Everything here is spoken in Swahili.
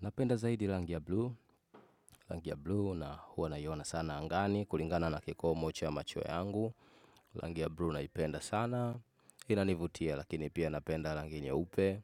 Napenda zaidi rangi ya blue. Rangi ya blue huwa naiona sana angani. Kulingana na kikomo cha ya macho yangu. Rangi ya blue naipenda sana. Inanivutia lakini pia napenda rangi nyeupe.